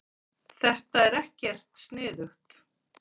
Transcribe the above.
Þetta er ekkert sniðugt.